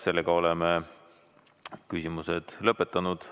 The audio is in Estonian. Sellega oleme küsimuste küsimise lõpetanud.